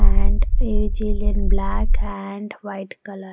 And which is in black and white color.